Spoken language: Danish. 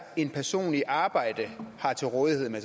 en person i arbejde har til rådighed